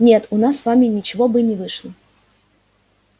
нет у нас с вами ничего бы и не вышло